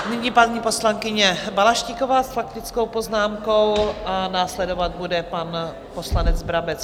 Nyní paní poslankyně Balaštíková s faktickou poznámkou a následovat bude pan poslanec Brabec.